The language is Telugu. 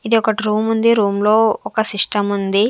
ఇది ఒకటి రూమ్ ఉంది రూమ్ లో ఒక సిస్టం ఉంది.